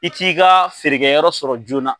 I t'i ka feerekɛyɔrɔ sɔrɔ joona